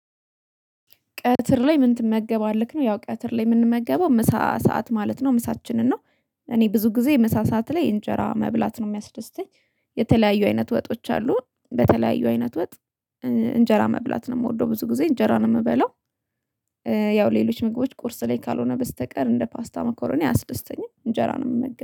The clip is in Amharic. ቀትር ላይ ምን ትመገባለህ ነው ያው ቀትር ላይ የምንመገበው ምሳ ሰዓት ማለት ነው ምሳችንን ነው። እኔ ብዙ ጊዜ ምሳ ሰዓት ላይ እንጀራ መብላት ነው የሚያስደስተኝ። የተለያዩ አይነት ወጦች አሉ በተለያዩ አይነት ወጥ እንጀራ መብላት ነው የምወደው ብዙ ጊዜ እንጀራ ነው የምበላው። ያው ሌሎች ምግቦች ቁርስ ላይ ካልሆነ በስተቀር እንደ ፓስታ መኮረኒ አያስደስተኛ እንጀራ ነው የምመገበው